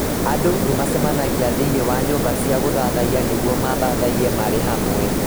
Andũ nĩ macemanagia thĩinĩ wa nyũmba cia gũthaathaiya nĩguo mathathaiye marĩ hamwe.